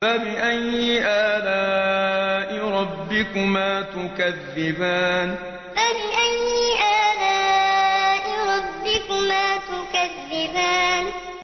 فَبِأَيِّ آلَاءِ رَبِّكُمَا تُكَذِّبَانِ فَبِأَيِّ آلَاءِ رَبِّكُمَا تُكَذِّبَانِ